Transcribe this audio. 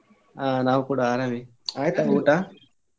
ಹ ನಾವು ಕೂಡ ಆರಾಮೆ ಆಯ್ತಾ ಊಟ?